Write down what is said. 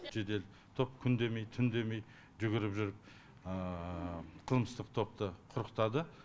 жедел топ күн демей түн демей жүгіріп жүріп қылмыстық топты құрықтады